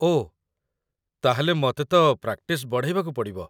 ଓଃ, ତା'ହେଲେ ମତେ ତ ପ୍ରାକ୍ଟିସ୍ ବଢ଼େଇବାକୁ ପଡ଼ିବ ।